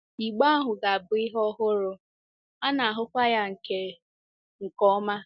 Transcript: Igbe ahụ ga-abụ ihe ọhụrụ, a na-ahụkwa ya nke nke ọma.